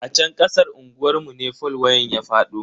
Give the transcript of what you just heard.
A chan kasan unguwar mu ne fol wayan ya fado.